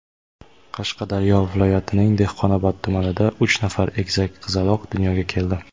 Qashqadaryo viloyatining Dehqonobod tumanida uch nafar egizak qizaloq dunyoga keldi.